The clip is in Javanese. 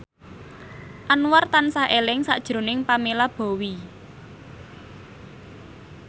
Anwar tansah eling sakjroning Pamela Bowie